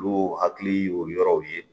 Olu hakili y'o yɔrɔw ye